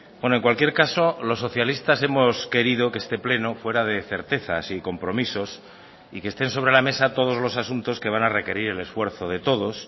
bueno en cualquier caso los socialistas hemos querido que este pleno fuera de certezas y compromisos y que estén sobre la mesa todos los asuntos que van a requerir el esfuerzo de todos